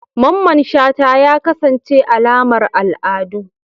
Mamman shata ya kasance alamar al'adu